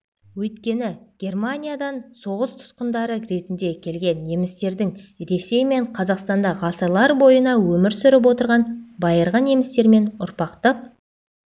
өйткені германияан соғыс тұтқындары ретінде келген немістердің ресей мен қазақстанда ғасырлар бойына өмір сүріп отырған байырғы немістермен ұрпақтық